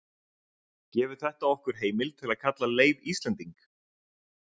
Gefur þetta okkur heimild til að kalla Leif Íslending?